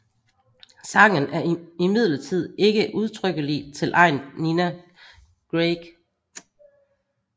Sangen er imidlertid ikke udtrykkelig tilegnet Nina Grieg